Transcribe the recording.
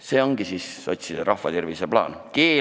See ongi siis sotside rahva tervise parandamise plaan!